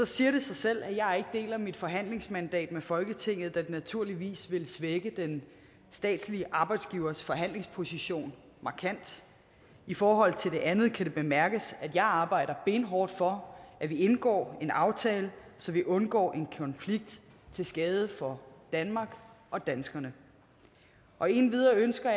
siger det sig selv at jeg ikke deler mit forhandlingsmandat med folketinget da det naturligvis vil svække den statslige arbejdsgivers forhandlingsposition markant i forhold til det andet kan det bemærkes at jeg arbejder benhårdt for at indgå en aftale så vi undgår en konflikt til skade for danmark og danskerne og endvidere ønsker